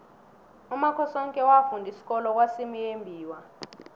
umakhosoke wafunda isikolo kwasimuyembiwa